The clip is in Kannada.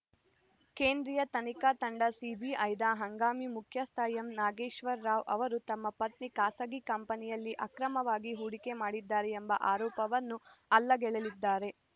ಕೇಂದ್ರೀಯ ತನಿಖಾ ತಂಡಸಿಬಿಐದ ಹಂಗಾಮಿ ಮುಖ್ಯಸ್ಥ ಎಂ ನಾಗೇಶ್ವರ ರಾವ್‌ ಅವರು ತಮ್ಮ ಪತ್ನಿ ಖಾಸಗಿ ಕಂಪನಿಯಲ್ಲಿ ಅಕ್ರಮವಾಗಿ ಹೂಡಿಕೆ ಮಾಡಿದ್ದಾರೆ ಎಂಬ ಆರೋಪವನ್ನು ಅಲ್ಲಗೆಳೆದಿದ್ದಾರೆ